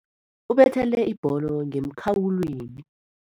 Ubethele ibholo ngemkhawulweni.